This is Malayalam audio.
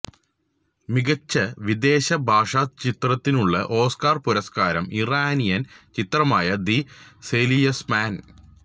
മികച്ച വിദേശ ഭാഷ ചിത്രത്തിനുള്ള ഓസ്കാര് പുരസ്കാരം ഇറാനിയന് ചിത്രമായ ദി സെയില്സ്മാന്